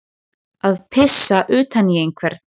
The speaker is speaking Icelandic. Að pissa utan í einhvern